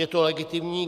Je to legitimní.